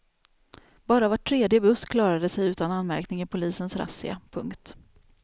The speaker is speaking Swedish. Bara var tredje buss klarade sig utan anmärkning i polisens razzia. punkt